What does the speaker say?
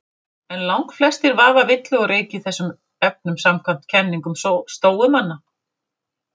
En langflestir vaða villu og reyk í þessum efnum samkvæmt kenningum stóumanna.